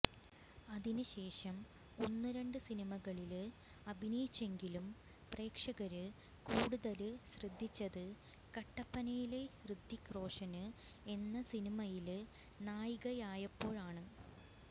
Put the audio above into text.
അതിന് ശേഷം ഒന്ന് രണ്ട് സിനിമകളില് അഭിനയിച്ചെങ്കിലും പ്രേക്ഷകര് കൂടുതല് ശ്രദ്ധിച്ചത് കട്ടപ്പനയിലെ ഹൃതിക് റോഷന് എന്ന സിനിമയില് നായികയായപ്പോഴാണ്